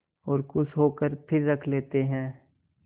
और खुश होकर फिर रख लेते हैं